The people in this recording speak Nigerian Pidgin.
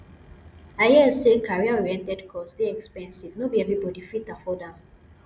i hear sey careeroriented course dey expensive no be everybodi fit afford am